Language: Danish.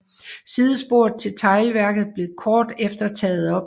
Sidesporet til teglværket blev kort efter taget op